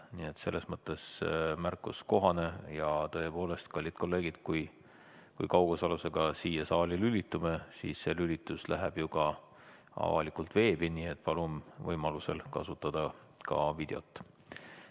Nii et selles mõttes märkus on kohane ja tõepoolest, kallid kolleegid, kui kaugosalusega siia saali lülitume, siis see lülitus läheb ju ka avalikult veebi, nii et palun võimalusel kasutada ka videot.